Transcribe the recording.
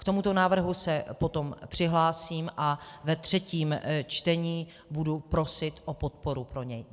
K tomuto návrhu se potom přihlásím a ve třetím čtení budu prosit o podporu pro něj.